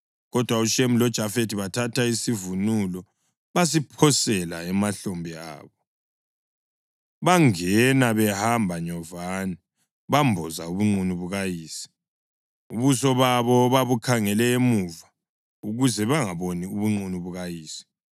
Kodwa uShemu loJafethi bathatha isivunulo basiphosela emahlombe abo; bangena behamba nyovane bamboza ubunqunu bukayise. Ubuso babo babukhangele emuva ukuze bangaboni ubunqunu bukayise.